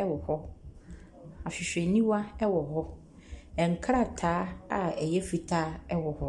ɛwɔ hɔ, ahwehwɛniwa ɛwɔ hɔ. Nkrataa a ɛyɛ fitaa ɛwɔ hɔ.